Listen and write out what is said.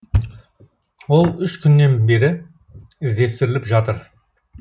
ол үш күннен бері іздестіріліп жатыр